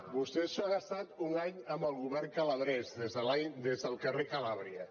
vostès han estat un any amb el govern calabrès des del carrer calàbria